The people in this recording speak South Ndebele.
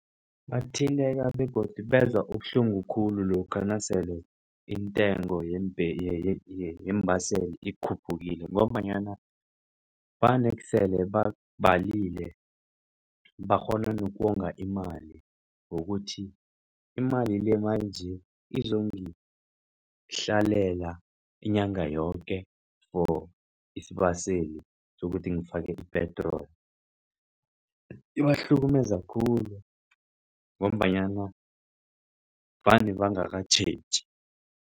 Bathinteka begodu bezwa ubuhlungu khulu lokha nasele intengo yeembaseli ikhuphukile ngombanyana vanesele babalile bakghona nokonga imali, ngokuthi imali le manje izongihlalela inyanga yoke for isibaseli sokuthi ngifake i-petrol. Ibahlukumeza khulu ngombanyana vane bangakatjheji.